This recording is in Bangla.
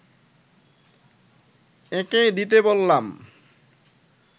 এঁকে দিতে বললাম